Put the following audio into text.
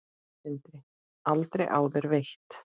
Sindri: Aldrei áður veitt?